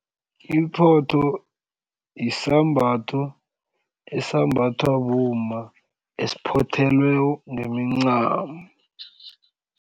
Iphotho isambatho esambathwa bomma esiphothelweko ngemincamo.